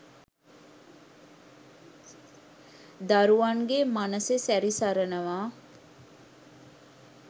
දරුවන්ගේ මනසෙ සැරි සරනවා